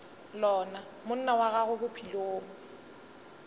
lona monna wa gago bophelong